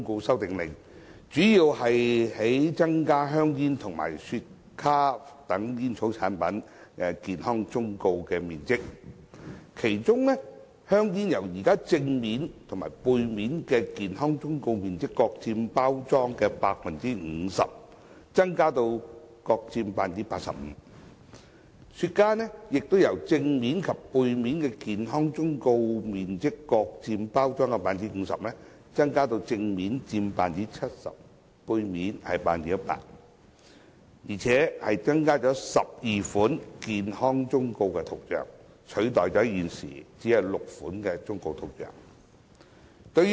《修訂令》主要旨在增加香煙和雪茄等煙草產品的健康忠告面積，其中香煙正面及背面的健康忠告面積由現時各佔包裝的 50%， 增加至各佔 85%； 雪茄的正面及背面的健康忠告面積亦由各佔包裝的 50%， 增加至正面佔 70%， 背面佔 100%， 而且增加12款健康忠告圖像，取代現時只有6款忠告圖像。